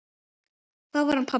Þá var hann pabbi.